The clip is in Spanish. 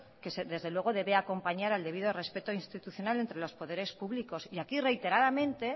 que desde luego debe acompañar al debido respeto institucional entre los poderes públicos y aquí reiteradamente